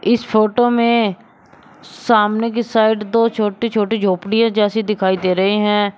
इस फोटो में सामने की साइड दो छोटी छोटी झोपड़ियाँ जैसी दिखाई दे रहे हैं।